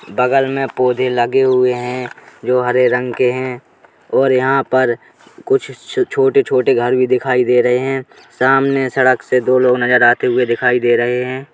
बगल में पौधे लगे हुए है जो हरे रंग के है और यहाँ पर कुछ छ छोटे-छोटे घर भी दिखाई दे रहे हैं। सामने सड़क से दो लोग नजर आते हुए दिखाई दे रहे हैं।